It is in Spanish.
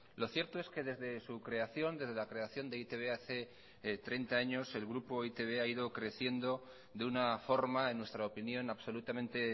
lo cierto es que desde la creación de e i te be hace treinta años el grupo e i te be ha ido creciendo de una forma en nuestra opinión absolutamente